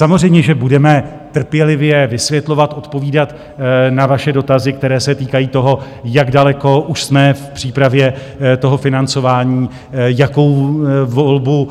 Samozřejmě že budeme trpělivě vysvětlovat, odpovídat na vaše dotazy, které se týkají toho, jak daleko už jsme v přípravě toho financování, jakou volbu